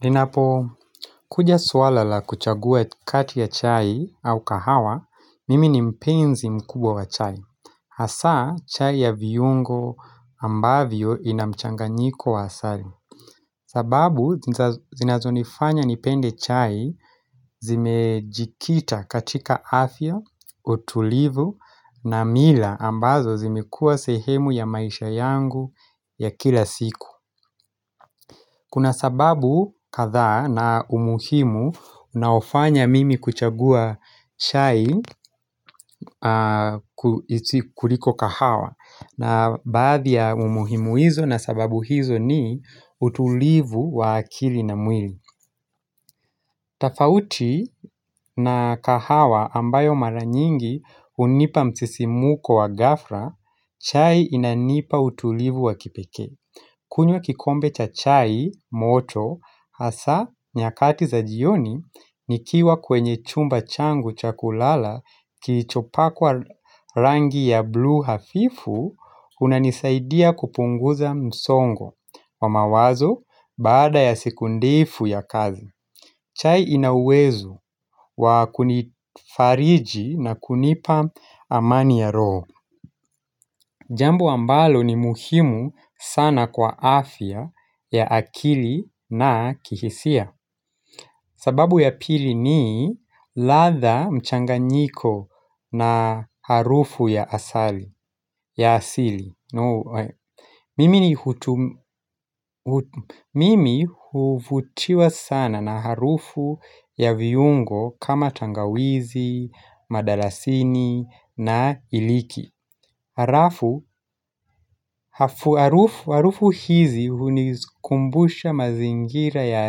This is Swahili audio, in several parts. Ninapokuja sualala kuchagua kati ya chai au kahawa, mimi ni mpenzi mkubwa wa chai Hasaa chai ya viyungo ambavyo ina mchanganyiko wa asali sababu zinazonifanya nipende chai zimejikita katika afya, utulivu na mila ambazo zimekua sehemu ya maisha yangu ya kila siku Kuna sababu kadhaa na umuhimu unaofanya mimi kuchagua chai kuliko kahawa na baadhi ya umuhimu hizo na sababu hizo ni utulivu wa akili na mwili. Tafauti na kahawa ambayo mara nyingi hunipa msisimuko wa gafra, chai inanipa utulivu wa kipeke. Kunywa kikombe cha chai, moto, hasa nyakati za jioni nikiwa kwenye chumba changu cha kulala kilichopakwa rangi ya bluu hafifu unanisaidia kupunguza msongo wa mawazo baada ya siku ndefu ya kazi. Chai inauwezo wa kunifariji na kunipa amani ya roho Jambu ambalo ni muhimu sana kwa afya ya akili na kihisia sababu ya pili ni ladha mchanganyiko na harufu ya asili Mimi huvutiwa sana na harufu ya viungo kama tangawizi, madarasini na iliki Harufu hizi hunikumbusha mazingira ya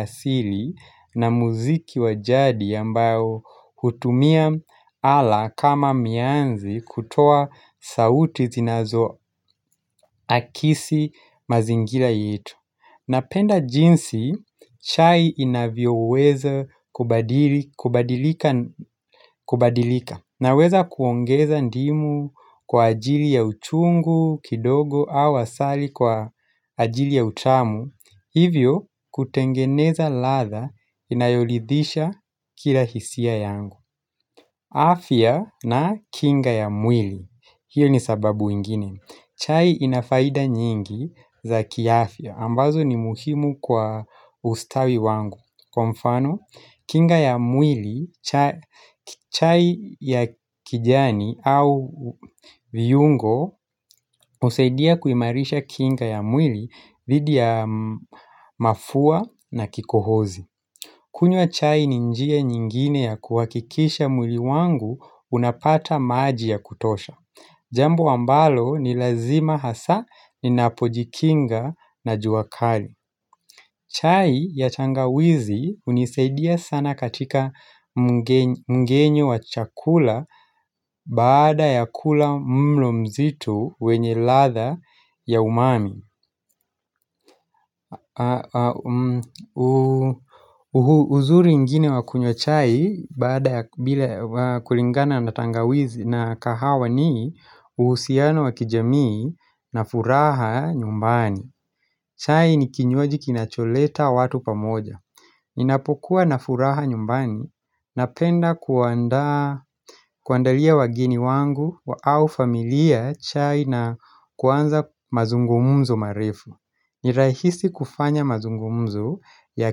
asili na muziki wajadi ambayo hutumia ala kama mianzi kutoa sauti zinazo akisi mazingira yetu. Napenda jinsi, chai inavyoweza kubadilika. Naweza kuongeza ndimu kwa ajili ya uchungu, kidogo au asali kwa ajili ya utamu. Hivyo, kutengeneza ladha inayolidhisha kila hisia yangu. Afya na kinga ya mwili, hiyo ni sababu ingine. Chai ina faida nyingi za kiafya, ambazo ni muhimu kwa ustawi wangu. Kwa mfano, kinga ya mwili, chai ya kijani au viyungo husaidia kuimarisha kinga ya mwili dhidi ya mafua na kikohozi. Kunywa chai ni njia nyingine ya kuakikisha mwili wangu unapata maji ya kutosha. Jambo ambalo ni lazima hasa ni napojikinga na juwakali. Chai ya changawizi hunisaidia sana katika mngenyo wa chakula baada ya kula mlo mzito wenye ladha ya umami. Uzuri ingine wa kunywa chai baada bila kulingana natangawizi na kahawa ni uhusiano wa kijamii na furaha nyumbani chai ni kinywaji kinacholeta watu pamoja Ninapokuwa na furaha nyumbani napenda kuandalia wageni wangu au familia chai na kuanza mazungumuzo marefu ni rahisi kufanya mazungumzo ya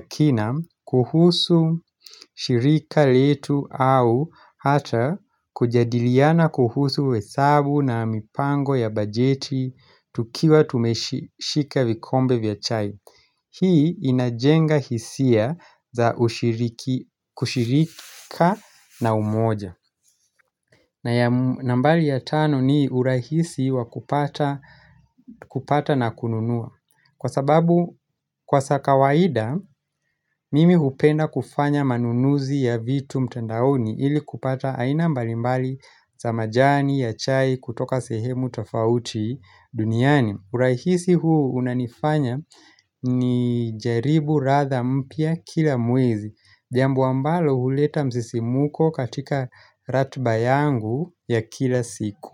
kina kuhusu shirika letu au hata kujadiliana kuhusu hesabu na mipango ya bajeti tukiwa tumeshika vikombe vya chai. Hii inajenga hisia za kushirika na umoja. Na nambali ya tano ni urahisi wa kupata na kununua Kwa sababu kwa sakawaida mimi hupenda kufanya manunuzi ya vitu mtandaoni ili kupata aina mbali mbali za majani ya chai kutoka sehemu tofauti duniani urahisi huu unanifanya nijaribu radha mpia kila mwezi Jambo ambalo huleta msisimuko katika ratiba yangu ya kila siku.